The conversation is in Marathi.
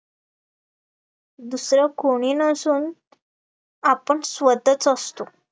दुसरं कोणी नसून आपण स्वतःच असतो